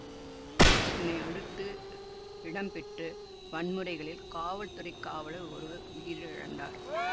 இதனை அடுத்து இடம்பெற்று வன்முறைகளில் காவல்துறைக் காவலர் ஒருவர் உயிரிழந்தார்